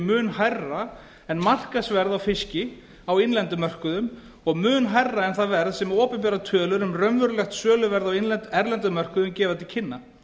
mun hærra en markaðsverð á fiski á innlendum mörkuðum og mun hærra en það verð sem opinberar tölur um raunverulegt söluverð á erlendum mörkuðum gefa til kynna